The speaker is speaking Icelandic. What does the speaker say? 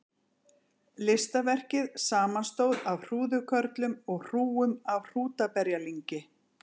Listaverkið samanstóð af hrúðurkörlum og hrúgum af hrútaberjalyngi.